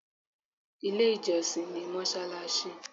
Ilé ìjọsìn ni mọ́ṣáláṣí.